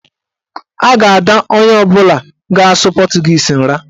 A ga-ada onye ọbụla ga-asụ pọtụgiizi nra.